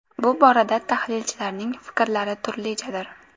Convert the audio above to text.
Bu borada tahlilchilarning fikrlari turlichadir.